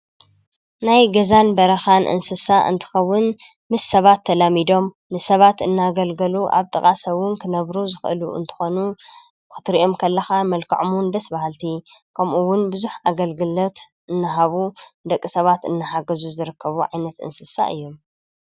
ናይ ገዛን በረኻን እንስሳ እንትኸውን ምስ ሰባት ተላሚዶም ንሰባት እናገልገሉ ኣብ ጥቓ ሰዉን ክነብሩ ዝኽእሉ እንተኾኑ ኽትሪኦም ከለኻ መልከዖምን ደስበሃልቲ ከምኡውን ብዙኅ ኣገልግሎት እንሃቡ ደቂ ሰባት እንሓገዙ ዝረከቡ ዒይነት እንስሳ እዮ